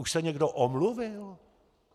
Už se někdo omluvil?